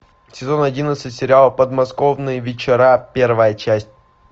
сезон одиннадцать сериала подмосковные вечера первая часть